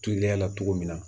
Teliya la cogo min na